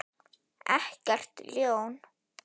Ekkert ljón.